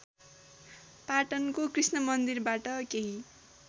पाटनको कृष्णमन्दिरबाट केही